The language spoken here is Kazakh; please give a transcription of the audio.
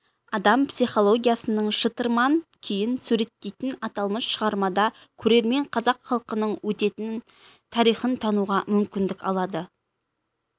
адам психологиясының шытырман күйін суреттейтін аталмыш шығармада көрермен қазақ халқының өткенін тарихын тануға мүмкіндік алады